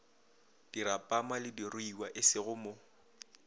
dirapama le diruiwa esego mo